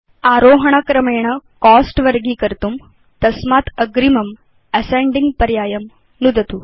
आरोहण क्रमेण कोस्ट वर्गीकर्तुं तस्मात् अग्रिमं असेन्डिंग पर्यायं नुदतु